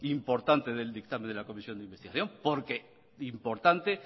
importante del dictamen de la comisión de investigación porque importante